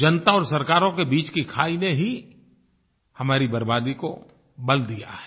जनता और सरकारों के बीच की खाई ने ही हमारी बर्बादी को बल दिया है